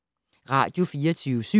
Radio24syv